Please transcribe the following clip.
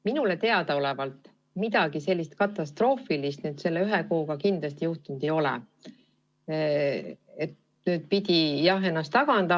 Minule teadaolevalt midagi katastroofilist selle ühe kuuga kindlasti juhtunud ei ole, et pidanuks sellest eelnõust taganema.